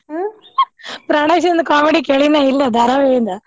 ಪ್ರಾಣೇಶ್ಂದ್ comedy ಕೇಳಿನ ಇಲ್ಲ ಧಾರಾವಾಹಿಯಿಂದ.